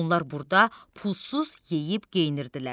Onlar burda pulsuz yeyib geyinirdilər.